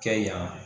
Kɛ yan